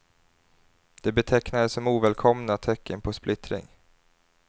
De betecknades som ovälkomna tecken på splittring.